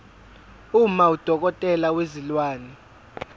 uma udokotela wezilwane